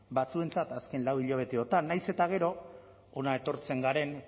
batzuentzat azken lau hilabeteotan nahiz eta gero hona etortzen garen